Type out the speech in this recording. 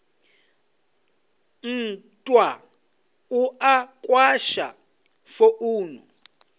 nthwa u a kwasha founu